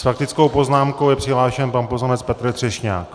S faktickou poznámkou je přihlášen pan poslanec Petr Třešňák.